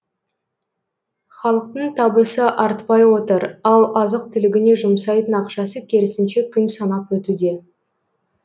халықтың табысы артпай отыр ал азық түлігіне жұмсайтын ақшасы керісінше күн санап өтуде